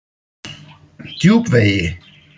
Djúpvegi